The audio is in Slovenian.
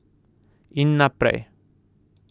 In naprej.